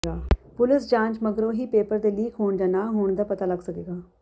police ਜਾਂਚ ਮਗਰੋਂ ਹੀ ਪੇਪਰ ਦੇ ਲੀਕ ਹੋਣ ਜਾਂ ਨਾ ਹੋਣ ਦਾ ਪਤਾ ਲੱਗ ਸਕੇਗਾ